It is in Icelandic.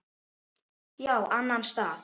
Já, annan stað.